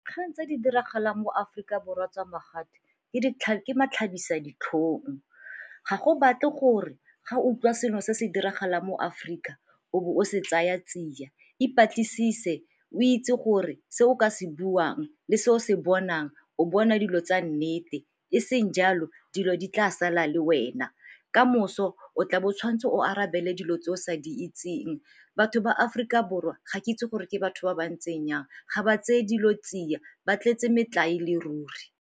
Kgang tse di diragalang mo Aforika Borwa tsa ke matlhabisaditlhong, ga go batle gore ga utlwa selo se se diragalang mo Aforika o bo o se tsaya tsia. E batlisise, o itse gore se o ka se buang le se o se bonang o bona dilo tsa nnete e seng jalo dilo di tla sala le wena ka moso o tlabo o tshwanetse o arabele dilo tse o sa di itseng. Batho ba Aforika Borwa ga ke itse gore ke batho ba ba ntseng yang ga ba tseye dilo tsia, ba tletse metlae e le ruri.